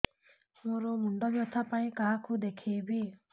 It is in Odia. ମୋର ମୁଣ୍ଡ ବ୍ୟଥା ପାଇଁ କାହାକୁ ଦେଖେଇବି